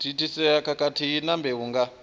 thithisea khathihi na mbeu nga